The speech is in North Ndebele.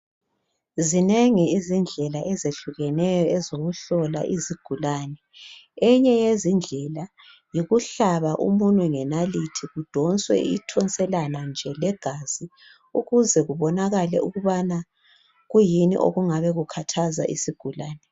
Zinengi izindlela ezehlukeneyo ezokuhlola izigulane, enye yezindlela yikuhlaba umunwe ngenaliti kudonswe ithonselana nje legazi ukuze kubonakala ukubana kuyini okungabe kukhathaza isigulane.